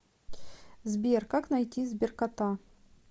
сбер как найти сберкота